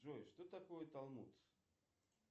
джой что такое талмут